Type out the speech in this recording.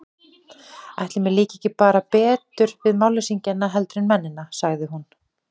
Ætli mér líki bara ekki betur við málleysingjana heldur en mennina, sagði hún.